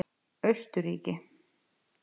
Austurríki